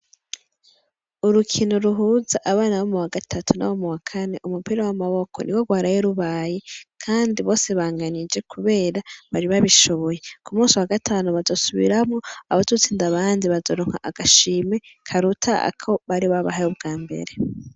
Urukino ruhuza abana bo mu wa gatatu na bo mu wakane umupira w'amaboko ni wo rwarayerubaye, kandi bose banganije, kubera bari babishuboye, ku musi wa gatanu bazosubiramwo abadutsinda abandi bazorunka agashime karuta ako bari babahaye ubwa mbere.